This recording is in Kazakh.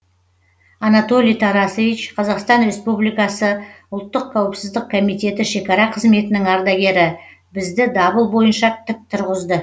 анатолий тарасевич қазақстан республикасы ұлттық қауіпсіздік комитеті шекара қызметінің ардагері бізді дабыл бойынша тік тұрғызды